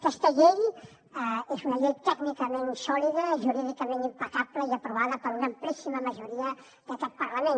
aquesta llei és una llei tècnicament sòlida jurídicament impecable i aprovada per una amplíssima majoria d’aquest parlament